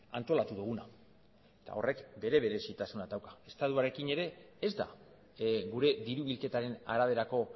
antolatu duguna eta horrek bere berezitasunak dauka estatuarekin ere ez da gure diru bilketaren araberako